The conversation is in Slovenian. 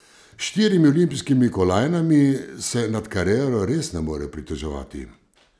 S štirimi olimpijskimi kolajnami se nad kariero res ne more pritoževati.